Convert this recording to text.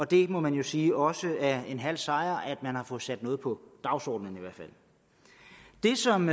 det må man jo sige også er en halv sejr at man har fået sat noget på dagsordenen i hvert fald det som